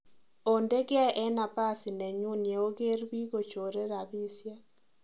Onde geeh en napasi nenyun yeoger biik kochore rapisiek